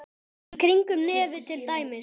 Í kringum nefið til dæmis.